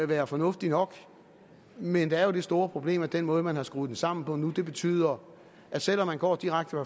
være fornuftig nok men der er jo det store problem at den måde man har skruet den sammen på nu betyder at selv om man går direkte